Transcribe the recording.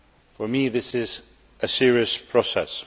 for me, this is a serious process.